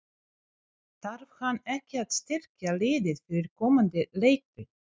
Þarf hann ekki að styrkja liðið fyrir komandi leiktíð?